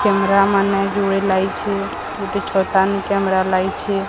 Camera ମାନେ ଯୁଡେ ଲାଇଛେ ଗୁଟେ ଛତାନୁ କେମେରା ଲାଇଛେ।